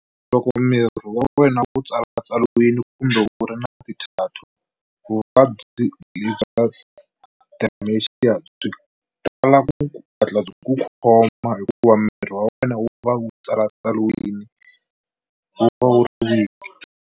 Loko miri wa wena u tsalatsariwile kumbe u ri na ti-tattoo vuvabyi bya dementia byi tala ku hatla byi ku khoma hikuva miri wa wena wu va wu tsalatsaliwile wu va wu ri weak.